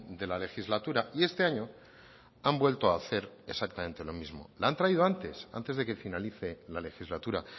de la legislatura y este año han vuelto a hacer exactamente lo mismo la han traído antes antes de que finalice la legislatura